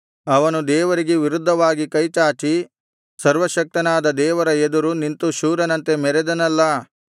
ಅವನು ದೇವರಿಗೆ ವಿರುದ್ಧವಾಗಿ ಕೈಚಾಚಿ ಸರ್ವಶಕ್ತನಾದ ದೇವರ ಎದುರು ನಿಂತು ಶೂರನಂತೆ ಮೆರೆದನಲ್ಲಾ